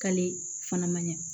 K'ale fana ma ɲa